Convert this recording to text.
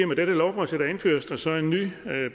med dette lovforslag indføres der så en ny